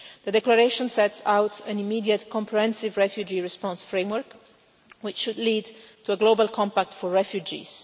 The declaration sets out an immediate comprehensive refugee response framework, which should lead to a global compact for refugees.